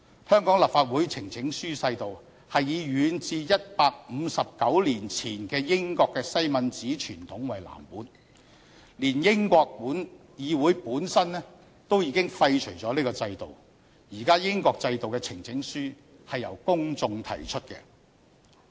香港立法會呈請書制度是以遠至159年前的英國西敏寺傳統為藍本，但連英國議會本身都已經廢除了這個制度，現時英國制度的呈請書是由公眾提出的。